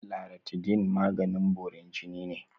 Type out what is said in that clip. Laratidine maganin borin jini ne.